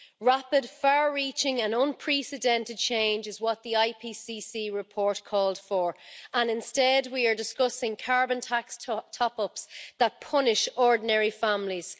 Rapid, far-reaching and unprecedented change is what the IPCC report called for, and instead we are discussing carbon tax top-ups that punish ordinary families.